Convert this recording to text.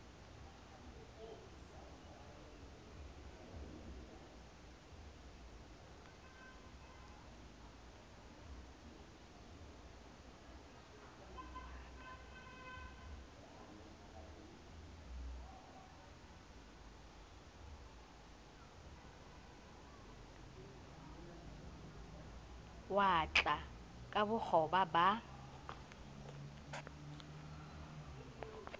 wa ka ka bokgoba ba